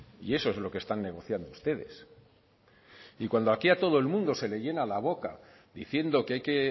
y eso es lo que están negociando ustedes y cuando aquí a todo el mundo se le llena la boca diciendo que hay que